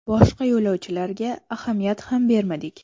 Boshqa yo‘lovchilarga ahamiyat ham bermadik.